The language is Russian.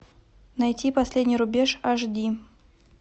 найти последний рубеж аш ди